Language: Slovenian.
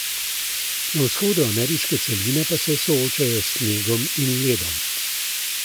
Na vzhodu ameriške celine pa se soočajo s snegom in ledom.